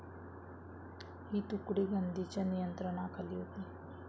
ही तुकडी गांधींच्या नियंत्रणाखाली होती.